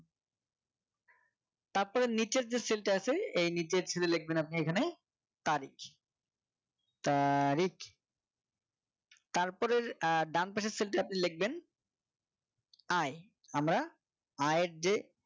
তারপরে নিচের যে Cell টা আছে এ নিজের Cell লিখবেন আপনি এখানে তারিখ তারিখ তারপরে আহ ডানপাশের Cell তাতে আপনি লিখবেন আয় আমরা আয়ের যে